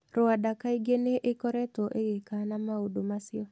Rwanda kaingĩ nĩ ĩkoretwo ĩgĩkana maũndũ macio.